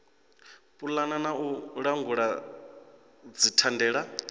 pulana na u langula dzithandela